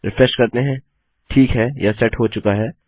refresh करते हैं ठीक है यह सेट हो चुका है